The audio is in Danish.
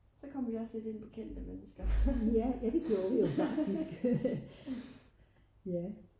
så kom vi også lidt ind på kendte mennesker